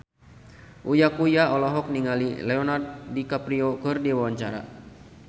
Uya Kuya olohok ningali Leonardo DiCaprio keur diwawancara